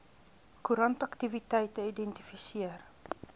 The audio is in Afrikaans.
koerant aktiwiteite identifiseer